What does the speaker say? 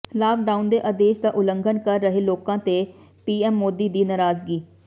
lockdown ਦੇ ਆਦੇਸ਼ ਦਾ ਉਲੰਘਣ ਕਰ ਰਹੇ ਲੋਕਾਂ ਤੇ ਪੀਐਮ ਮੋਦੀ ਦੀ ਨਰਾਜ਼ਗੀ